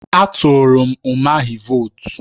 A tụrụ m Umahi vootu.